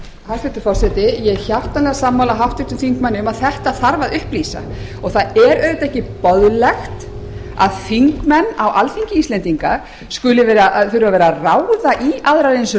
hæstvirtur forseti ég er hjartanlega sammála háttvirtum þingmanni um að þetta þarf að upplýsa og það er auðvitað ekki boðlegt að þingmenn á alþingi íslendinga skuli þurfa að vera að ráða í aðrar eins